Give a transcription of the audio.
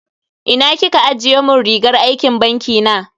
Ina kika ajiye mun rigar aikin banki na?